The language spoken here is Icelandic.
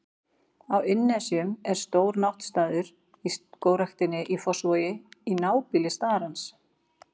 Á Innnesjum er stór náttstaður í Skógræktinni í Fossvogi, í nábýli starans.